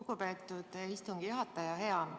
Lugupeetud istungi juhataja!